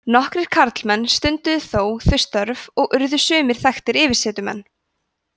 nokkrir karlmenn stunduðu þó þau störf og urðu sumir þekktir yfirsetumenn